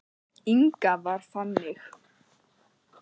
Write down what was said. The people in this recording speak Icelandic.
Inga var þannig.